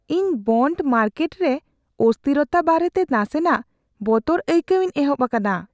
ᱤᱧ bond market ᱨᱮ ᱚᱥᱛᱷᱤᱨᱚᱛᱟ ᱵᱟᱨᱮᱛᱮ ᱱᱟᱥᱮᱱᱟᱜ ᱵᱚᱛᱚᱨ ᱟᱹᱭᱠᱟᱹᱣᱤᱧ ᱮᱦᱚᱵ ᱟᱠᱟᱱᱟ ᱾